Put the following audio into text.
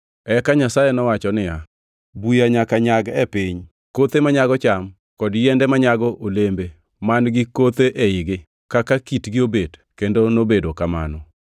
Eka Nyasaye nowacho niya, “Buya nyaka nyag e piny, kothe manyago cham kod yiende manyago olembe man-gi kuthe eigi kaka kitgi obet kendo nobedo kamano.